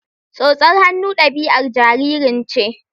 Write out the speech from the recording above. Tsotsar hannu ɗabi'ar jaririn ce